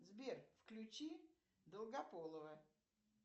сбер включи долгополова